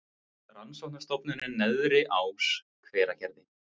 Rannsóknastofnunin Neðri Ás, Hveragerði.